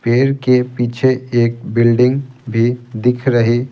पेड़ के पीछे एक बिल्डिंग भी दिख रही--